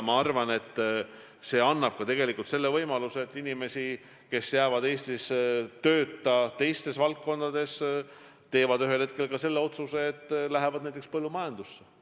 Ma arvan, et nii tekib võimalus, et inimesed, kes jäävad Eestis teistes valdkondades tööta, teevad ühel hetkel otsuse minna näiteks põllumajandusse.